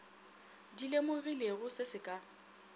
di lemogilego se se ka